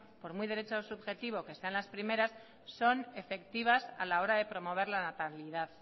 por muy derecho subjetivo que están las primeras son efectivas a la hora de promover la natalidad